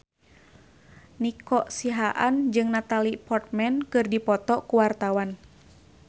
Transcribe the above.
Nico Siahaan jeung Natalie Portman keur dipoto ku wartawan